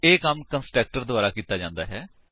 ਇਹ ਕੰਮ ਕੰਸਟਰਕਟਰ ਦੁਆਰਾ ਕੀਤਾ ਜਾਂਦਾ ਹੈ